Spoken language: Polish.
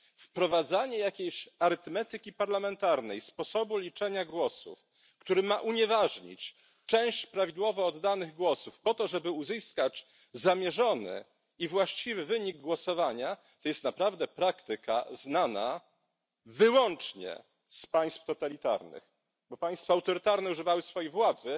Wprowadzanie jakiejś arytmetyki parlamentarnej, sposobu liczenia głosów, który ma unieważnić część prawidłowo oddanych głosów po to, żeby uzyskać zamierzony i właściwy wynik głosowania, jest praktyką znaną wyłącznie z państw totalitarnych, bo tak państwa autorytarne używały swojej władzy.